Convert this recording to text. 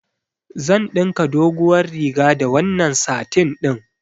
Zan ɗinka doguwar riga da wannan satin ɗin.